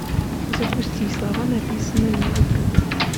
запусти слова написанные на ветру